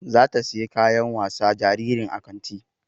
Zata siyi kayan wasa jaririn a kanti